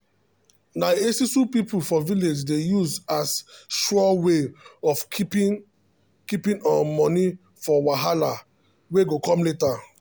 na esusu people for village dey use as sure way of keeping keeping um money for wahala um wey go come later